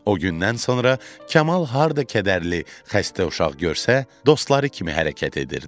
O gündən sonra Kamal harda kədərli, xəstə uşaq görsə, dostları kimi hərəkət edirdi.